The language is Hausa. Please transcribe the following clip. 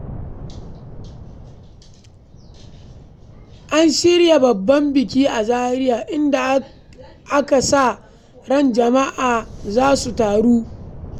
An shirya babban biki a Zaria inda ake sa ran jama’a za su taru.